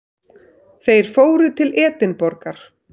Þeir fóru til Edinborgar.